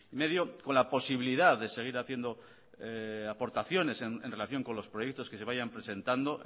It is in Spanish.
coma cinco millónes con la posibilidad de seguir haciendo aportaciones en relación con los proyectos que se vayan presentando